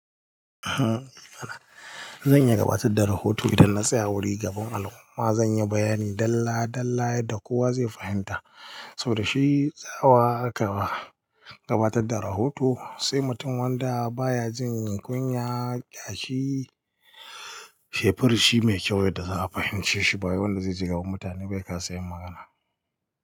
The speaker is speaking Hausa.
Zan iya gabatar da rahoto idan na tsaya wurin gaban al'umma. Zan yi bayani dalla dalla yadda kowa zai fahimta, saboda shi tsawa aka ba gabatar da rahoto, sai mutum wanda baya jin kunya, kashi shefari shi mai kyau yadda za a fahimce shi. Bayan wanda zai jagoranci mutane bai ka sanya magana.